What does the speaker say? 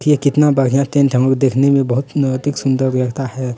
ये कितना बढ़िया टेंट है म देखने बहुत अतिक सुंदर लगता है।